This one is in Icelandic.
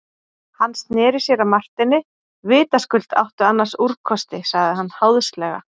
Hann sneri sér að Marteini:-Vitaskuld áttu annars úrkosti, sagði hann háðslega.